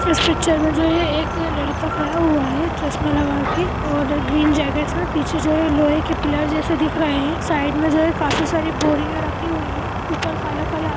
इस पिक्चर मे जो है एक लड़का खड़ा हुआ है चश्मा लगा के और ग्रीन जैकिट और पीछे जो है लोहे के पिलर्स जैसा दिख रहे है साइड मे जो है काफी सारी बोरिया रखी हुई है ऊपर काला-काला --